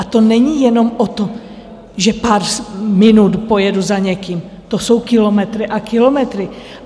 A to není jenom o tom, že pár minut pojedu za někým, to jsou kilometry a kilometry.